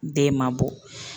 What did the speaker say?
Den ma bɔ